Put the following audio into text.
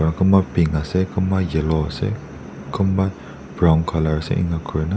aro kunba pink asey kunba yellow asey brown colour asey eniakurna--